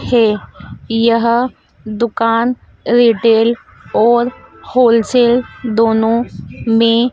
है यह दुकान रिटेल और होलसेल दोनों में--